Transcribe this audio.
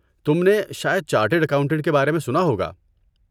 تم نے شاید چارٹرڈ اکاؤنٹنٹ کے بارے میں سنا ہوگا؟